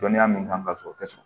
Dɔnniya min kan ka sɔrɔ o tɛ sɔn